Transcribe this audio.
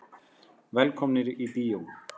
Velkomnir í bíó.